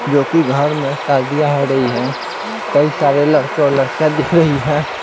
जो कि घर में शादियां हो रही है कई सारे लड़के और लड़कियां दिख रही है।